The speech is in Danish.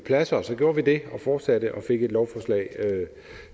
pladser og så gjorde vi det og fortsatte og fik et lovforslag